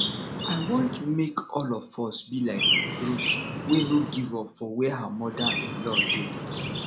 i want make all of us be like ruth wey no give up for where her mother in law dey